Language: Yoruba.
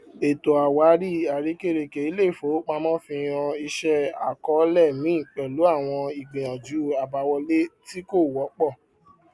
ètò àwárí àrekèrèke iléifowopamọ fi hàn ìṣe àkọọlẹ mi pẹlú àwọn ìgbìyànjú àbáwọlé tí kò wọpọ